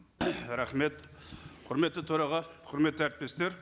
рахмет құрметті төраға құрметті әріптестер